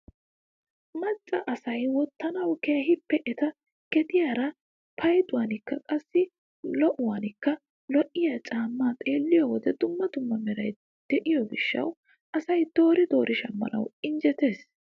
Macca asay wottanawu keehippe eta gediyaara payduwanikka qassi lo"uwaakka lo'iyaa caammaa xeelliyoo wode dumma dumma meray de'iyoo gishshawu asay doori doori shammanawu injettees!